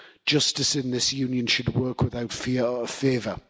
Justice in this Union should work without fear or favour.